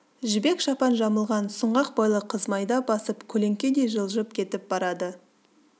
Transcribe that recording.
жібек шапан жамылған сұңғақ бойлы қыз майда басып көлеңкедей жылжып кетіп барады